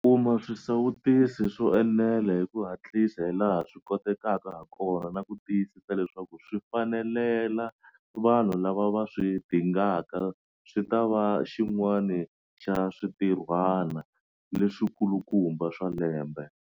Kuma swisawutisi swo enela hi ku hatlisa hilaha swi kotekaka hakona na ku tiyisisa leswaku swi fikelela vanhu lava va swi dingaka swi ta va xin'wana xa swintirhwana leswikulukumba swa lembe.